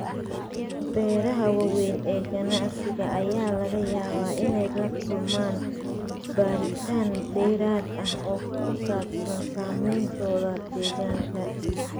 Beeraha waaweyn ee ganacsiga ayaa laga yaabaa inay la kulmaan baaritaan dheeraad ah oo ku saabsan saameyntooda deegaanka.